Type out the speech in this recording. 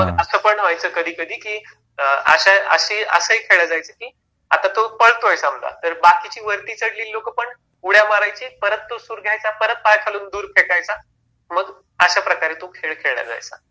केव्हा मग अस पण व्हायचं कधीकधी की अश्या अशी असं हि खेळलं जायचं कि आता तो पळतोय समजा तर बाकीची वरती चढलेली लोक पण उड्या मारायची परत तो सूर घ्यायचा परत पाया खालून दूर फेकायचा मग अश्या प्रकारे तो खेळ खेळला जायचा.